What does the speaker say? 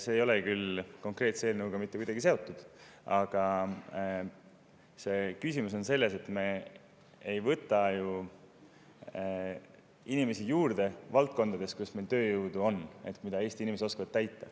See ei ole küll konkreetse eelnõuga mitte kuidagi seotud, aga küsimus on selles, et me ei võta ju inimesi juurde valdkondades, kus meil on tööjõudu, mida Eesti inimesed oskavad.